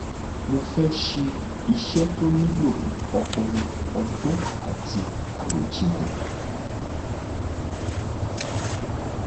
mo fẹẹ ṣe iṣẹ tó nílò ọpọlọ ọgbọn àti àròjinlẹ